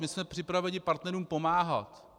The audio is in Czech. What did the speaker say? My jsme připraveni partnerům pomáhat.